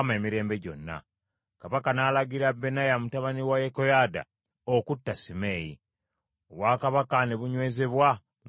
Kabaka n’alagira Benaya mutabani wa Yekoyaada, okutta Simeeyi. Obwakabaka ne bunywezebwa mu mukono gwa Sulemaani.